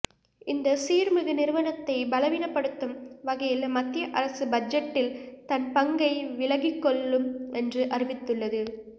இந்த சீர்மிகு நிறுவனத்தை பலவீனப்படுத்தும் வகையில் மத்திய அரசு பட்ஜெட் டில் தன்பங்கை விலகிக்கொள் ளும் என்று அறிவித்துள்ளது